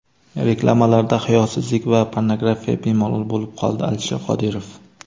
Reklamalarda hayosizlik va pornografiya bemalol bo‘lib qoldi — Alisher Qodirov.